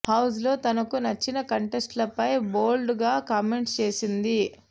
house లో తనకు నచ్చని కంటెస్టెంట్లపై బోల్డ్ గా కామెంట్స్ చేసింది